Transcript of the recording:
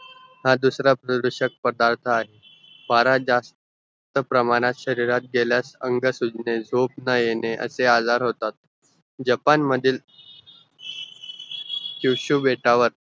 हा दुसरा प्रदूषक पदार्थ पॅरा जास्त तर प्रमाणात शरीरात गेल्यास अंग सुजणे झोप न येणे जपान मधील सीव्हीसीव्ही बेटवर